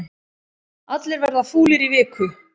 Allir verða fúlir í viku